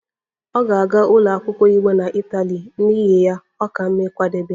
Ọ ga-aga ụlọ akwụkwọ iwu na Itali, n'ihi ya, ọ ka mma ịkwadebe